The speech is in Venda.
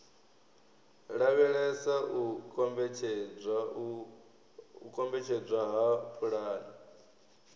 lavhelesa u kombetshedzwa ha pulani